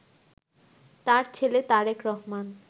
তার ছেলে তারেক রহমান